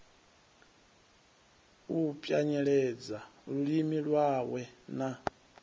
u pwanyeledza lulimi lwawe na